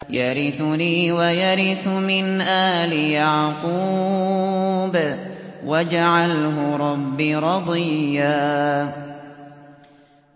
يَرِثُنِي وَيَرِثُ مِنْ آلِ يَعْقُوبَ ۖ وَاجْعَلْهُ رَبِّ رَضِيًّا